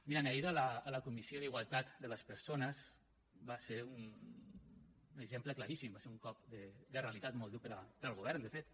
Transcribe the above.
mirin ahir a la comissió d’igualtat de les persones va ser un exemple claríssim va ser un cop de realitat molt dur per al govern de fet